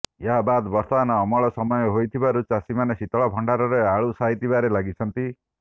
ଏହା ବାଦ୍ ବର୍ତ୍ତମାନ ଅମଳ ସମୟ ହୋଇଥିବାରୁ ଚାଷୀମାନେ ଶୀତଳଭଣ୍ଡାରରେ ଆଳୁ ସାଇତିବାରେ ଲାଗିଛନ୍ତି